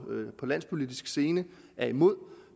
den landspolitiske scene er imod